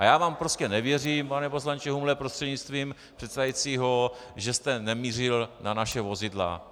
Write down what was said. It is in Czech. A já vám prostě nevěřím, pane poslanče Humle prostřednictvím předsedajícího, že jste nemířil na naše vozidla.